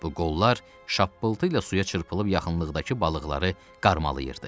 Bu qollar şappıltı ilə suya çırpılıb yaxınlıqdakı balıqları qarmalayırdı.